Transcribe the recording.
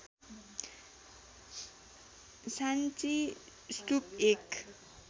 साङ्ची स्तूप एक